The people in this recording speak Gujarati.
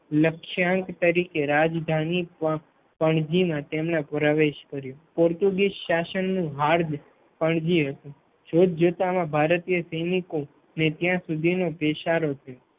લક્ષાંક તરીકે રાજધાની પણજી મા તેનો પ્રવેશ કર્યો. પોર્ટુગીઝ શાસન નું હાદ પણજી હતું જોતજોતામાં ભારતીય સૈનિકો ને ત્યાં સુધી નો પેસારો થયો